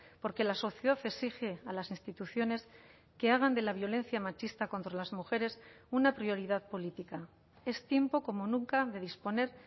porque la sociedad exige a las instituciones que hagan de la violencia machista contra las mujeres una prioridad política es tiempo como nunca de disponer